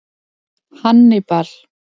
Hannibal